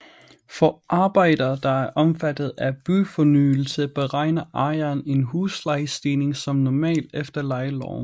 For arbejder der er omfattet af byfornyelse beregner ejeren en huslejestigning som normalt efter lejeloven